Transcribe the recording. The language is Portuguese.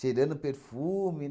perfume.